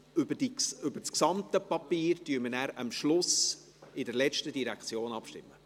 Über das gesamte Papier stimmen wir hingegen am Schluss, bei der letzten Direktion, ab.